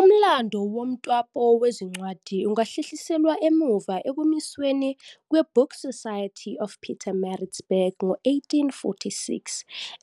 Umlando womtapo wezincwadi ungahlehliselwa emuva ekumisweni kwe-Book Society of Pietermaritzburg ngo-1846,